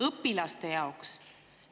Õpilaste jaoks.